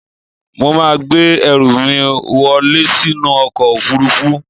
Mo máa gbé ẹrù mí wọlẹ́ sínú ọkọ̀ òfurufú.